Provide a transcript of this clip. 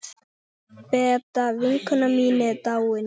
Beta vinkona mín er dáin.